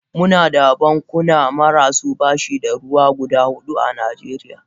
Muna da bankuna marasu bashi da ruwa guda hudu a najeriya.